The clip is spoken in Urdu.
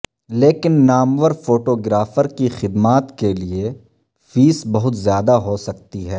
لیکن نامور فوٹو گرافر کی خدمات کے لئے فیس بہت زیادہ ہو سکتی ہے